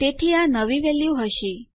તેથી આ આપણી નવી વેલ્યુ હશે